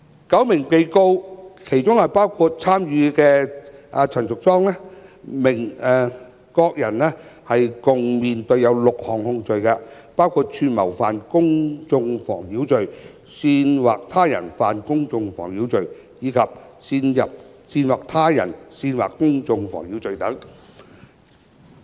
九名被告包括參與者陳淑莊議員，各人合共面對6項控罪，包括串謀犯公眾妨擾罪、煽惑他人犯公眾妨擾罪，以及煽惑他人煽惑公眾妨擾罪等。